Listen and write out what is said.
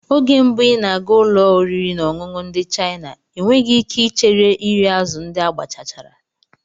Oge mbụ ị na-aga ụlọ oriri na ọṅụṅụ ndị China, enweghị ike ichere iri azụ̀ ndị agbachachara